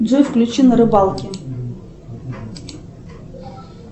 джой включи на рыбалке